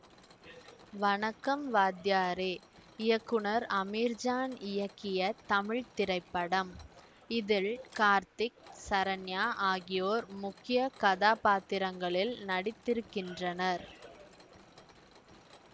வணக்கம் வாத்தியாரே இயக்குனர் அமீர்ஜான் இயக்கிய தமிழ் திரைப்படம் இதில் கார்த்திக் சரண்யா ஆகியோர் முக்கிய கதாபாத்திரங்களில் நடித்திருக்கின்றனர்